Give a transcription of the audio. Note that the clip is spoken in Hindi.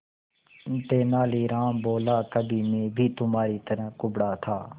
तेनालीराम बोला कभी मैं भी तुम्हारी तरह कुबड़ा था